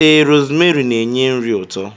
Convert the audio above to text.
Ee, rosmeri n'enye nri ụtọ.